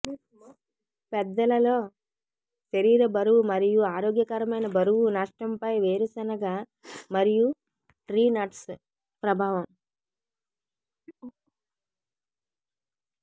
పెద్దలలో శరీర బరువు మరియు ఆరోగ్యకరమైన బరువు నష్టం పై వేరుశెనగ మరియు ట్రీ నట్స్ ప్రభావం